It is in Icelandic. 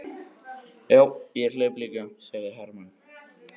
Já, og hleyp líka, sagði Hermann.